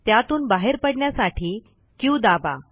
त्यातून बाहेर पडण्यासाठी क्यू दाबा